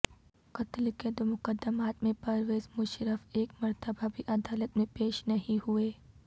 قتل کے دو مقدمات میں پرویز مشرف ایک مرتبہ بھی عدالت میں پیش نہیں ہوئے